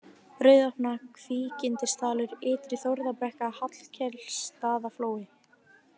Rauðopna, Kvígindisdalur, Ytri-Þórðarbrekka, Hallkelsstaðaflói